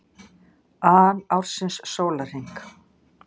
an ársins sólarhring.